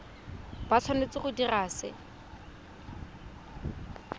ba tshwanetse go dira se